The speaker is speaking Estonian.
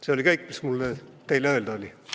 See on kõik, mis mul teile öelda oli.